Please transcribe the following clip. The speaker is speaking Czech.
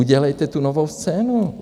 Udělejte tu Novou scénu.